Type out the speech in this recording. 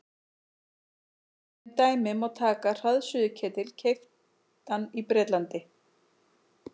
Sem dæmi má taka hraðsuðuketil keyptan í Bretlandi.